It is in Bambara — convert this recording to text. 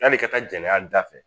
Yanni i ka taa janɲa da fɛ